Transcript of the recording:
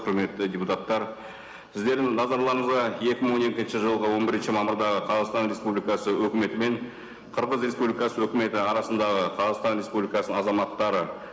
құрметті депутаттар сіздердің назарларыңызға екі мың он екінші жылғы он бірінші мамырдағы қазақстан республикасы өкіметі мен қырғыз республикасы өкіметі арасындағы қазақстан республикасының азаматтары